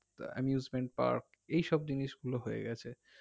তো amusement park এইসব জিনিস গুলো হয়ে গেছে